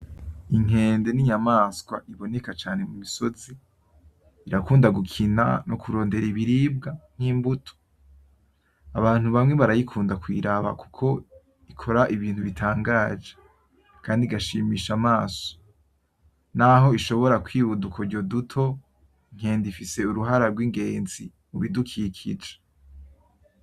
Inkende n'inyamaswa iboneka cane mumisozi, irakunda gukina no kurondera ibiribwa nkimbuto. Abantu bamwe barayikunda kuyiraba kuko ikora ibintu bitangaje kandi igashimisha amaso, naho ishobora kwiba udukoryo duto, inkende ifise uruhara rw'ingenzi mubidukikije.